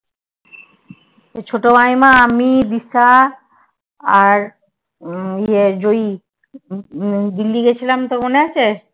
ছোট মাইমা আমি দিশা আর ইয়ে জয়ী দিল্লী গেছিলাম তোর মনে আছে